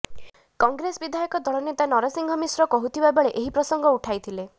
କଂଗ୍ରେସ ବିଧାୟକ ଦଳ ନେତା ନରସିଂହ ମିଶ୍ର କହୁଥିଲା ବେଳେ ଏହି ପ୍ରସଙ୍ଗ ଉଠାଇଥିଲେ